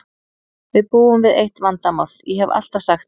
Við búum við eitt vandamál, ég hef alltaf sagt það.